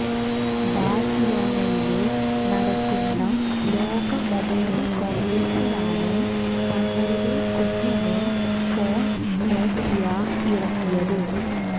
ബാഴ്സിലോനയില് നടക്കുന്ന ലോക മൊബൈല് കോണ്ഗ്രസിലാണ് തങ്ങളുടെ കുഞ്ഞന് ഫോണ് നോക്കിയ ഇറക്കിയത്